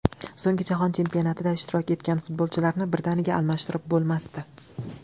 So‘nggi Jahon Chempionatida ishtirok etgan futbolchilarni birdaniga almashtirib bo‘lmasdi.